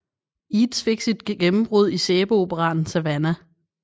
Eads fik sit gennembrud i sæbeoperaen Savannah